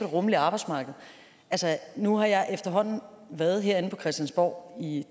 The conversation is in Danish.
rummeligt arbejdsmarked nu har jeg efterhånden været herinde på christiansborg i